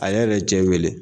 A yɛrɛ ye cɛ in wele.